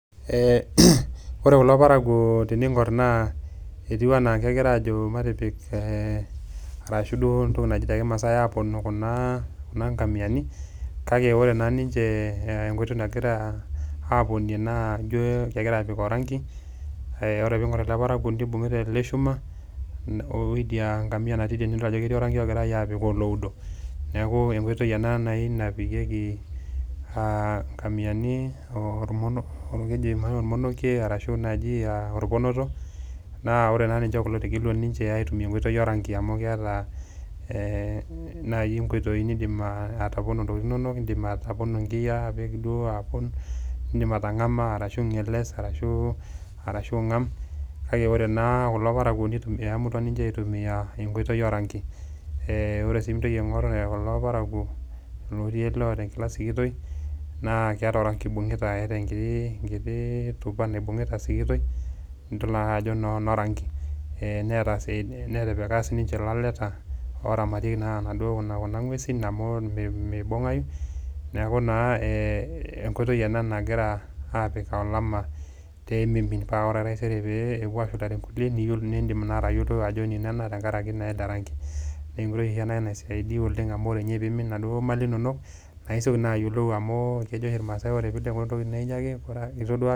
Eee kore kulo parakuo tening'or etiu enaa kegira aajo matipik ee arashu duo entoki naji te kimasai aponoo kuna ngamiani kake ore naa ninje ee enkoitoi nagira aaponie naa ijo kegira aapik orangi ee ore piing'or ele parakuoni ibung'ita ele shuma wo idia ngamia nati idie nidol ajo keti orangi ogirai aapik oloudo. Neeku enkoitoi ena nai napikieki aa ngamiani ormonokie arashu eji aa orponoto naa ore naa ninje kulo etegelua ninje aitumia enkoitoi orangi amu keeta nai nkoitoi nidim atopono ntokitin inonok, indimi atopono nkiyaa apik duo apon, indim atang'ama ashu ing'eles arashu ing'am. Kake kore naa kulo parakuo nitumia iamunutua ninje aitumia enkoitoi orangi, ee ore sii piintoki aing'or kulo parakuo lotii oloota enkila sikitoi naake eeta orangi oibunkita, eeta nkii nkiti tupa naibunkita sikitoi nidol naa ajo eno rangi. Ee neeta sii netipika sininje laleta oramatieki naduo kuna ng'uesin amu mibung'ayu, neeku naa enkoitoi ena nagira aapik olama pee miimin pee ore taisere pee epuo ashulare nkuliek nindim naa atayilo ajo enino ena tenkaraki naa ele rangi. Nee enkoitoi ena naisaidia oleng' amu ore nye piimin naduo mali inonok nae isioki ayolou amu kejo oshi irmaasai kore pee ileku entoki naa inyake...